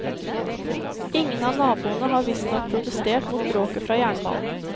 Ingen av naboene har visstnok protestert mot bråket fra jernbanen.